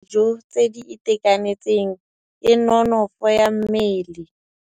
Mosola wa dijô tse di itekanetseng ke nonôfô ya mmele.